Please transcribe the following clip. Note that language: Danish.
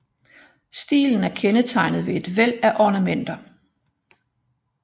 Stilen er kendetegnet ved et væld af ornamenter